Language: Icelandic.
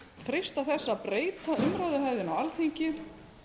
freista þess að breyta umræðuhefðinni á alþingi